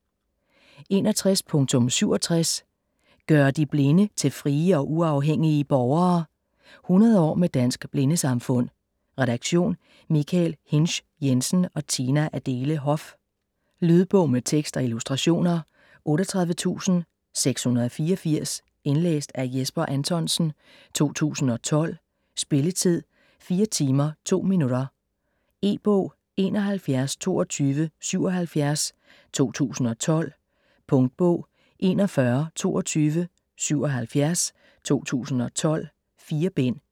61.67 ...gøre de Blinde til frie og uafhængige borgere: 100 år med Dansk Blindesamfund Redaktion: Michael Hinsch Jensen og Tina Adele Hoff. Lydbog med tekst og illustrationer 38684 Indlæst af Jesper Anthonsen, 2012. Spilletid: 4 timer, 2 minutter. E-bog 712277 2012. Punktbog 412277 2012. 4 bind.